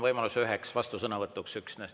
Võimalus on üksnes üheks vastusõnavõtuks.